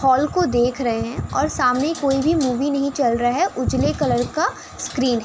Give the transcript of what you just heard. hall को देख रहे हैं और सामने कोई भी मूवी नहीं चल रहा है | उजले कलर का स्क्रीन है |